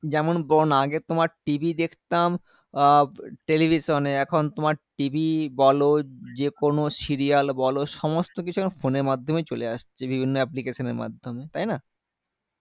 যেমন বলোনা আগে তোমার TV দেখতাম আ television এ এখন তোমার TV বলো যেকোনো serial বলো সমস্তকিছু এখন phone এর মাধ্যমেই চলে আসছে বিভিন্ন application এর মাধ্যমে তাইনা